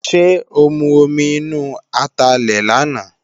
Ṣé ó mu omi inú atalẹ̀ làná?